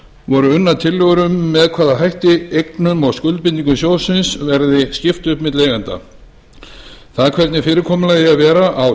voru unnar tillögur um með hvaða hætti eignum og skuldbindingum sjóðsins verði skipt upp milli eigenda það er hvernig fyrirkomulagið eigi að vera á